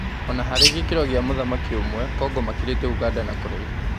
Ona harĩ gĩ kĩ ro gĩ a mũthaki ũmwe, Kongo makĩ rĩ te ũganda na kũraihu.